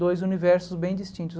Dois universos bem distintos.